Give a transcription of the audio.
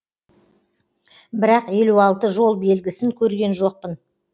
бірақ елу алты жол белгісін көрген жоқпын